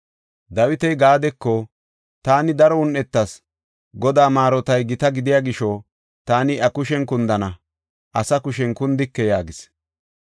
Dawiti Gaadeko, “Taani daro un7etas. Godaa maarotay gita gidiya gisho taani iya kushen kundana; asa kushen kundike” yaagis.